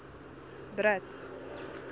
brits